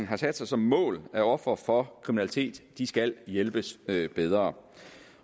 har sat sig som mål at ofre for kriminalitet skal hjælpes bedre